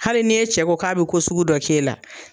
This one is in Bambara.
Hali ni e cɛ ko k'a be ko sugu dɔ k'e la